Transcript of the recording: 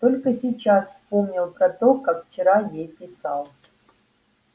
только сейчас вспомнил про то как вчера ей писал